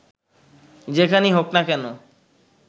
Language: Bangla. যেখানেই হোক না কেন